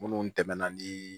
Minnu tɛmɛna ni